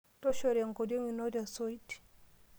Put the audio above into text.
Toshora enkoriong ino te osoit.